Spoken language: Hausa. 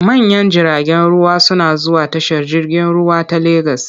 Manyan jiragen ruwa suna zuwa tashar jirgin ruwa ta Legas.